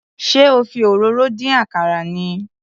Ṣé o fi òróró dín àkàrà ni?